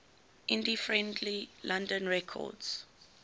indie friendly london records